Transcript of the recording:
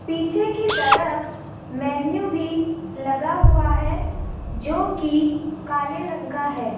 पीछे की तरफ मेनू भी लगा हुआ है जो कि काले रंग का है।